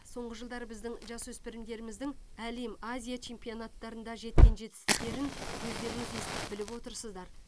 соңғы жылдары біздің жасөспірімдеріміздің әлем азия чемпионаттарында жеткен жетістіктерін өздеріңіз естіп біліп отырсыздар